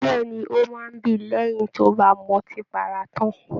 Bẹẹni, o máa n bí lẹyìn tí o ba m'ọtí para tán.